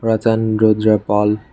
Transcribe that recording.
Rattan Rudra Pal.